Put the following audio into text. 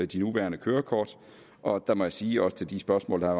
de nuværende kørekort og der må jeg sige også til de spørgsmål der er